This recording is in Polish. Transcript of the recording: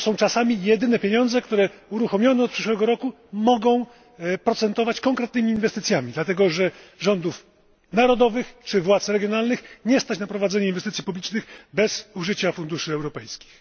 To są czasami jedyne pieniądze, które uruchomione od przyszłego roku mogą procentować konkretnymi inwestycjami, dlatego że rządów narodowych czy władz regionalnych nie stać na prowadzenie inwestycji publicznych bez użycia funduszy europejskich.